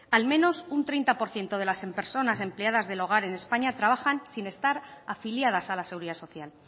al menos un treinta por ciento de las personas empleadas del hogar en españa trabajan sin estar afiliadas a la seguridad social